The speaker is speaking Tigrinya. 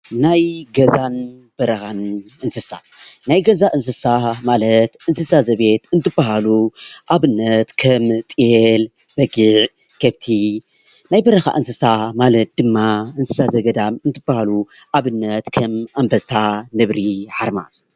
ናይ ገዛን በረካን እንስሳ፦ ናይ ገዛ እንስሳ ማለት እንስሳ ዘቤት እንትበሃሉ ኣብነት ከም ጤል፣ በጊዕ፣ ከፍቲ፣ ናይ በረካ እንስሳ ማለት ድማ እንስሳ ዘገዳም እንትበሃሉ ኣብነት ከም ኣንበሳ፣ ነብሪ፣ ሓርማዝ